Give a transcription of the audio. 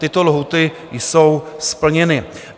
Tyto lhůty jsou splněny.